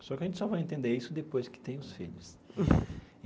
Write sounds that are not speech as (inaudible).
Só que a gente só vai entender isso depois que tem os filhos. (laughs)